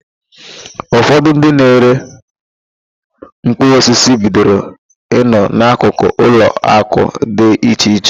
Ụfọdụ ndị na-ere mkpụrụosisi bidoro ị nọ n'akụkụ ụlọakụ dị iche iche.